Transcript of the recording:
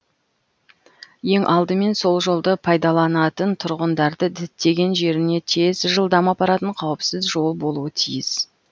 ең алдымен сол жолды пайдаланатын тұрғындарды діттеген жеріне тез жылдам апаратын қауіпсіз жол болуы тиіс